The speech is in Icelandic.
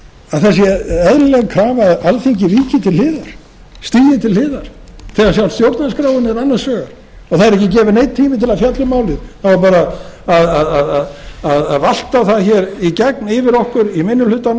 að það sé eðlileg krafa að alþingi víki til hliðar stígi til hliðar þegar sjálf stjórnarskráin er annars vegar og það er ekki gefinn neinn tími til að fjalla um málið það á bara að valta það hér í gegn yfir okkur í minni hlutanum og